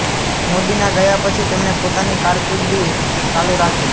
મોદીના ગયા પછી તેમણે પોતાની કારકિર્દી ચાલુ રાખી